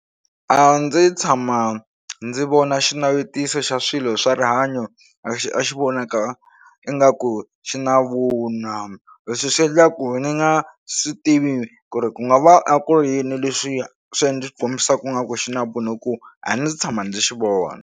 A ndzi tshama ndzi vona xinavetiso xa swilo swa rihanyo a xi a xi vonaka ingaku xi na vunwa leswi swi endla ku ni nga swi tivi ku ri ku nga va a ku ri yini leswi swi ndzi kombisaku ngaku xi na vunwa hi ku a ndzi tshama ndzi xi vona.